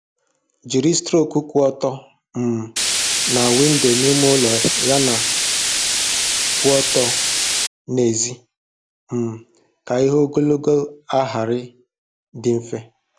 Jiri strok kwụ ọtọ um na windo n'ime ụlọ yana kwụ ọtọ n'èzí um ka ịhụ ogologo ahịrị dị mfe.